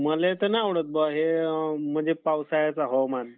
मले तर नाय आवडत बा हे पावसाळ्याचं हवामान.